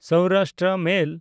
Saurashtra ᱢᱮᱞ